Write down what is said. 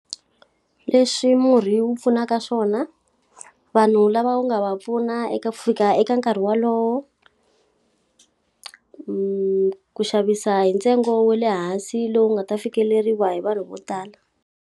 Leswi murhi wu pfunaka swona. Vanhu lava wu nga va pfuna eka fika eka nkarhi wolowo. ku xavisa hi ntsengo wa le hansi lowu nga ta fikeleriwa hi vanhu vo tala.